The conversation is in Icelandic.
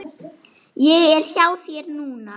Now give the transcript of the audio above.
Ég er hjá þér núna.